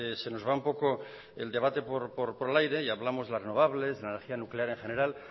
se nos va un poco el debate por el aire y hablamos de las renovables la energía nuclear en general